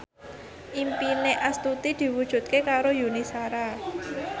impine Astuti diwujudke karo Yuni Shara